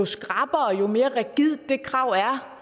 skrappere og jo mere rigidt det krav